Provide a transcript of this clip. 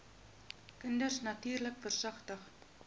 kinders natuurlik versigtig